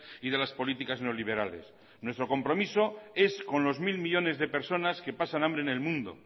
y de las políticas neoliberales nuestro compromiso es con los mil millónes de personas que pasan hambre en el mundo